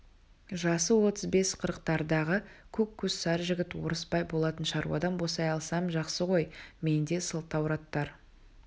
жасы отыз бес-қырықтардағы көк көз сары жігіт орысбай болатын шаруадан босай алсам жақсы ғой менде сылтауратар